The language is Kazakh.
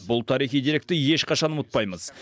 бұл тарихи деректі ешқашан ұмытпаймыз